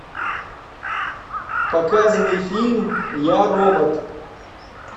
показывай фильм я робот